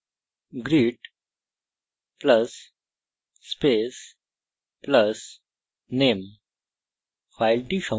greet + space + name